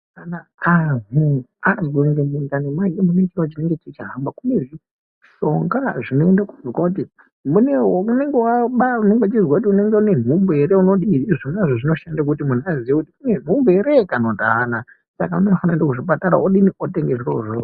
Kana anhu azwe kunge mundani make mune chiro chahamba kune zvishonga zvinoende konzwa kuti mune, unenge waba, unenge uchizwa kuti unenge une nhumbu ere unodii izvona zvinoshanda kuti munhu aziye kuti une nhumbu ere kana kuti aana Saka unofanira kuenda kuzvipatara odini otemge zvirozvo.